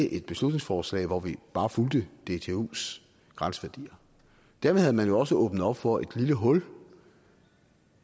et beslutningsforslag hvor vi bare fulgte dtus grænseværdier dermed havde man jo også åbnet op for et lille hul